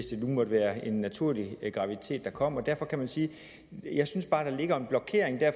det nu måtte være en naturlig graviditet der kom jeg synes bare der ligger en blokering